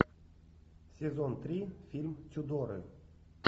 сезон три фильм тюдоры